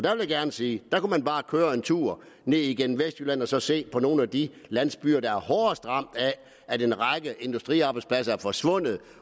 jeg gerne sige at der kunne man bare køre en tur ned igennem vestjylland og så se på nogle af de landsbyer der er hårdest ramt af at en række industriarbejdspladser er forsvundet